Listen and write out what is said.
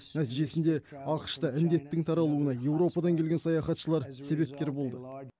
нәтижесінде ақш та індеттің таралуына еуропадан келген саяхатшылар себепкер болды